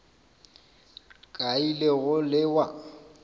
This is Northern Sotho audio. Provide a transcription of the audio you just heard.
ka a ile go lewa